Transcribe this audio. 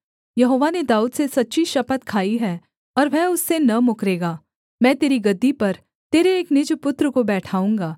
यहोवा ने दाऊद से सच्ची शपथ खाई है और वह उससे न मुकरेगा मैं तेरी गद्दी पर तेरे एक निज पुत्र को बैठाऊँगा